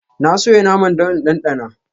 Na soya naman don in ɗanɗana.